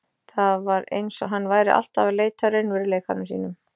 Það var eins og hann væri alltaf að leita að raunveruleikanum sínum.